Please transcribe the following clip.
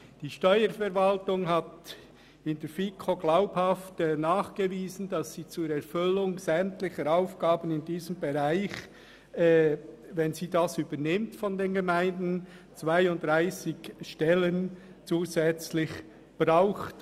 Die Steuerverwaltung hat der FiKo gegenüber glaubhaft nachgewiesen, dass sie bei einer Übernahme dieses Bereichs von den Gemeinden für die Erfüllung sämtlicher Aufgaben 32 zusätzliche Stellen braucht.